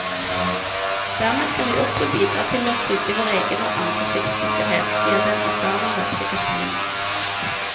Dermed kan vi også bidra til å trygge vår egen og andre skips sikkerhet, sier den erfarne norske kapteinen.